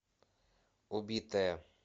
убитая